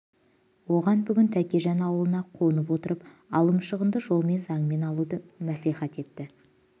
оған бүгін тәкежан аулына қонып отырып алым-шығынды жолмен заңмен алуды мәслихат етті